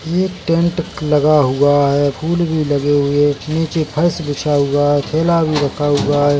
येक टेंट लगा हुआ है फूल भी लगे हुए नीचे फर्श बिछा हुआ है थैला भी रखा हुआ है।